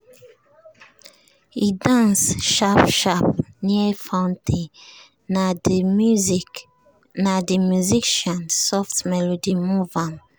e dance sharp sharp near fountain na de musician soft melody move ahm.